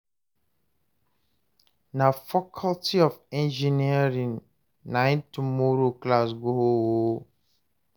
na faculty of engineering nai tomorrow class go hold o